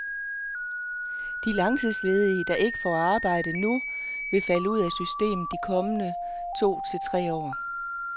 De langtidsledige, der ikke får arbejde nu, vil falde ud af systemet de kommende to til tre år.